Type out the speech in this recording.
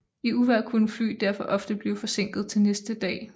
I uvejr kunne fly derfor ofte blive forsinket til næste dag